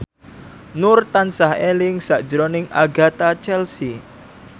Nur tansah eling sakjroning Agatha Chelsea